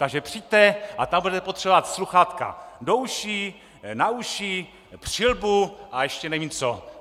Takže přijďte a tam budete potřebovat sluchátka do uší, na uši, přilbu a ještě nevím co.